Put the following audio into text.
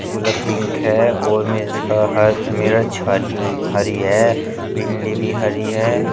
गुला पिक है और मिर्च ह हर छारी हुई भारी है भिंडी भी हरी है।